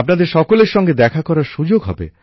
আপনাদের সকলের সঙ্গে দেখা করার সুযোগ হবে